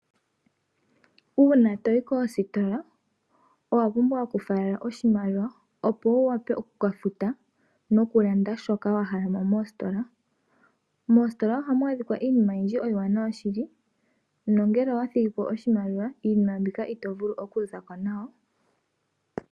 Uuna to yi koositola owa pumbwa okufalela oshimaliwa, opo wu wape oku ka futa no ku landa shoka wa hala mo moositola. Moositola ohamu adhika iinima oyindji iiwanawa shili, no ngele owa thigi po oshimaliwa iinima mbika ito vulu okuza ko nayo.